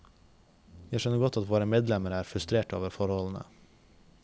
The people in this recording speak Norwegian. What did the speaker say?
Jeg skjønner godt at våre medlemmer er frustrerte over forholdene.